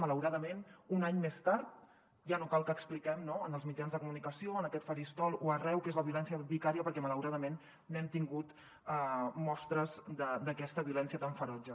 malauradament un any més tard ja no cal que expliquem en els mitjans de comunicació en aquest faristol o arreu què és la violència vicària perquè malauradament n’hem tingut mostres d’aquesta violència tan ferotge